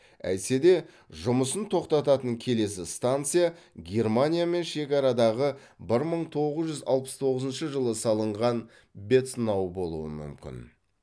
әйтсе де жұмысын тоқтататын келесі станция германиямен шекарадағы бір мың тоғыз жүз алпыс тоғызыншы жылы салынған бецнау болуы мүмкін